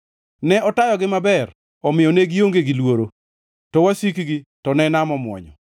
Ne otayogi maber omiyo ne gionge gi luoro, to wasikgi to ne nam omwonyo.